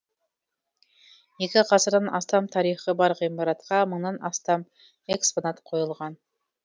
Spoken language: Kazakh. екі ғасырдан астам тарихы бар ғимаратқа мыңнан астам экспонат қойылған